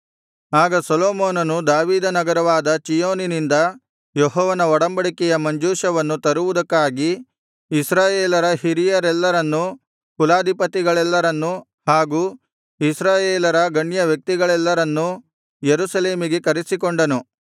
ಆಗ ಸೊಲೊಮೋನನು ದಾವೀದನಗರವಾದ ಚೀಯೋನಿನಿಂದ ಯೆಹೋವನ ಒಡಂಬಡಿಕೆಯ ಮಂಜೂಷವನ್ನು ತರುವುದಕ್ಕಾಗಿ ಇಸ್ರಾಯೇಲರ ಹಿರಿಯರೆಲ್ಲರನ್ನು ಕುಲಾಧಿಪತಿಗಳೆಲ್ಲರನ್ನು ಹಾಗೂ ಇಸ್ರಾಯೇಲರ ಗಣ್ಯ ವ್ಯಕ್ತಿಗಳೆಲ್ಲರನ್ನು ಯೆರೂಸಲೇಮಿಗೆ ಕರೆಸಿಕೊಂಡನು